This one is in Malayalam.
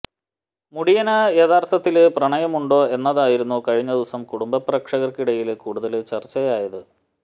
മുടിയന് യഥാര്ത്ഥത്തില് പ്രണയമുണ്ടോ എന്നതായിരുന്നു കഴിഞ്ഞ ദിവസം കുടുംബപ്രേക്ഷകര്ക്കിടയില് കൂടുതല് ചര്ച്ചയായത്